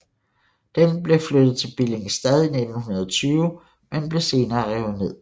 Den blev flyttet til Billingstad i 1920 men blev senere revet ned